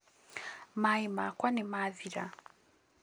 maaĩ makwa nĩmathira